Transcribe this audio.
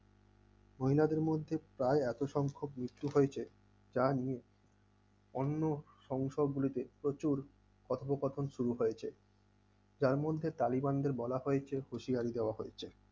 মহিলাদের মধ্যে প্রায় এত সংখ্যক মৃত্যু হয়েছে তা নিয়ে অন্য সংসদ গুলিতে প্রচুর কথোপকথন শুরু হয়েছে, যার মধ্যে কালীগঞ্জে বলা হয়েছে হুঁশিয়ারি দেওয়া হয়েছে।